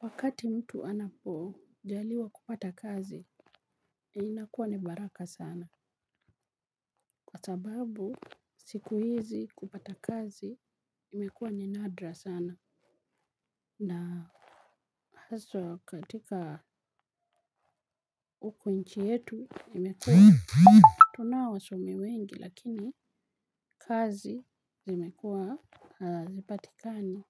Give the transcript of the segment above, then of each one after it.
Wakati mtu anapojaliwa kupata kazi, inakuwa ni baraka sana. Kwa sababu, siku hizi kupata kazi, imekuwa ni nadra sana. Na haswa katika huku nchi yetu, imekua tunao wasomi wengi, lakini kazi zimekuwa hazipatikani.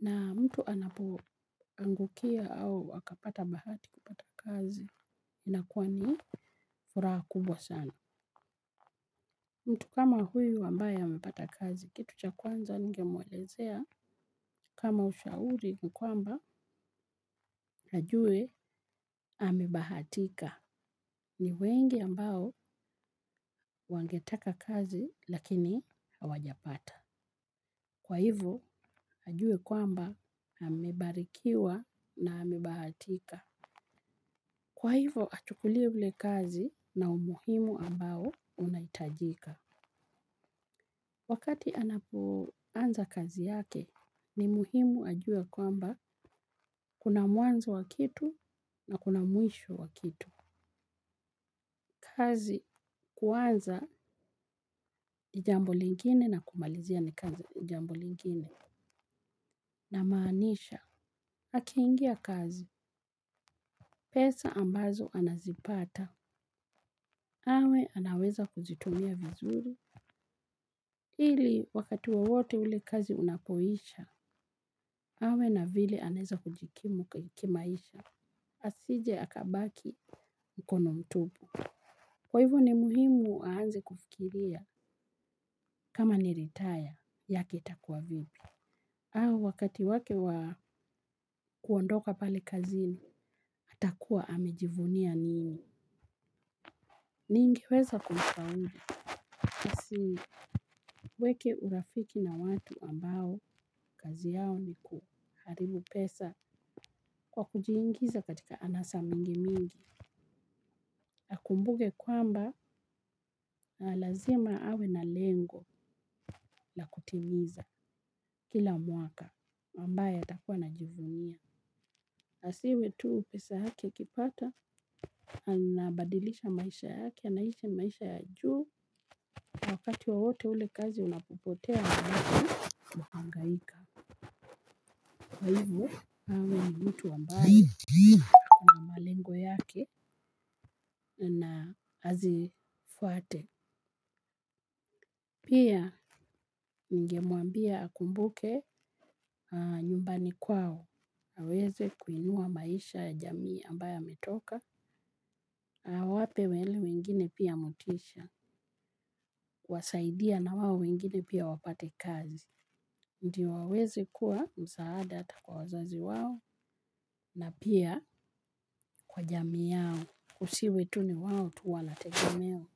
Na mtu anapoangukia au akapata bahati kupata kazi, inakuwa ni furaha kubwa sana. Mtu kama huyu ambaye amepata kazi, kitu cha kwanza ningemuelezea, kama ushauri ni kwamba, ajue amebahatika. Ni wengi ambao wangetaka kazi lakini hawajapata. Kwa hivyo ajue kwamba amebarikiwa na amebahatika. Kwa hivyo, achukulie ule kazi na umuhimu ambao unahitajika. Wakati anapoanza kazi yake, ni muhimu ajue kwamba kuna mwanzo wa kitu na kuna mwisho wa kitu. Kazi kuanza ni jambo lingine na kumalizia ni kazi jambo lingine. Namaanisha, akiingia kazi, pesa ambazo anazipata, awe anaweza kuzitumia vizuri. Ili wakati wowote ule kazi unapoisha, awe na vile anaeza kujikimu kimaisha. Asije akabaki mkono mtupu. Kwa hivyo ni muhimu aanze kufikiria kama ni ritaya yake itakuwa vipi. Au wakati wake wa kuondoka pale kazini, atakuwa amejivunia nini ningeweza kumshauri. Asiweke urafiki na watu ambao kazi yao ni kuharibu pesa kwa kujiingiza katika anasa mingi mingi. Akumbuke kwamba lazima awe na lengo la kutimiza kila mwaka ambaye atakuwa anajivunia. Asiwe tu pesa yake akipata anabadilisha maisha yake anaishi maisha ya juu. Wakati wowote ule kazi unapopotea unabaki unahangaika. Kwa hivo, awe ni mtu ambaye ana malengo yake na azifuate. Pia, ningemuambia akumbuke nyumbani kwao. Aweze kuinua maisha ya jamii ambayo ametoka awape wale wengine pia motisha. Kuwasaidia na wao wengine pia wapate kazi. Ndio aweze kuwa msaada ata kwa wazazi wao. Na pia kwa jamii yao kusiwe tu ni wao tu wanategemewa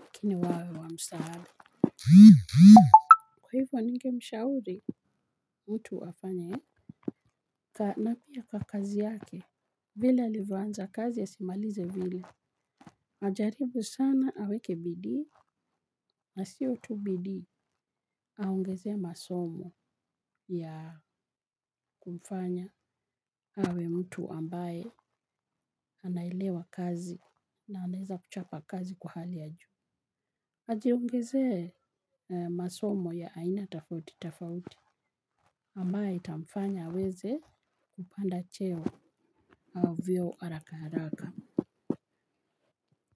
lakini wawe wa msaada. Kwa hivyo ningemshauri mtu afanya. Na pia kwa kazi yake vile alivyoanza kazi asimalize vile. Ajaribu sana aweke bidii. Na sio tu bidii aongezee masomo ya kumfanya awe mtu ambaye anaelewa kazi na anaeza kuchapa kazi kwa hali ya juu ajiongezee masomo ya aina tofauti tofauti ambayo itamfanya aweze kupanda cheo au vyeo haraka haraka.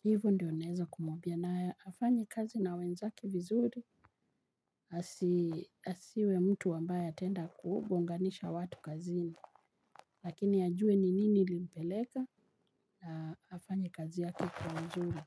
Hivo ndio naeza kumuambia na afanye kazi na wenzake vizuri. Asiwe mtu ambaye ataenda kugonganisha watu kazini. Lakini ajue ni nini ilimpeleka afanye kazi yake kwa uzuri.